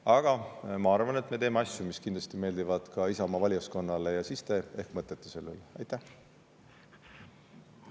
Aga ma arvan, et me teeme asju, mis kindlasti meeldivad ka Isamaa valijaskonnale, ja siis te ehk mõtlete selle üle.